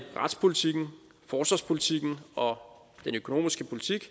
retspolitikken forsvarspolitikken og den økonomiske politik